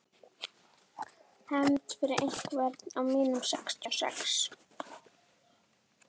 Hefnd fyrir einhvern af mínum sextíu og sex.